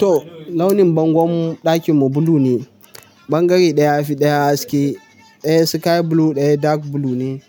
To launin bangon ɗakin mu blue ne. Bangare ɗaya fi ɗaya haske. Ɗaya sky blue ɗaya dark blue ne.